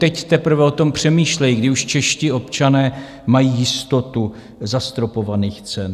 Teď teprve o tom přemýšlejí, kdy už čeští občané mají jistotu zastropovaných cen.